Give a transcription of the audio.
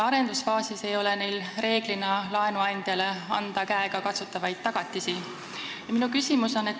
Arendusfaasis ei ole neil ka enamasti anda laenuandjale käegakatsutavaid tagatisi.